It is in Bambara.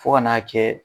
Fo ka n'a kɛ